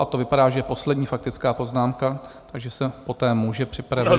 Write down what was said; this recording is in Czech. A to vypadá, že je poslední faktická poznámka, takže se poté může připravit...